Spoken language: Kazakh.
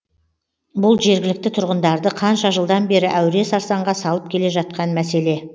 бұл жергілікті тұрғындарды қанша жылдан бері әуре сарсаңға салып келе жатқан мәселе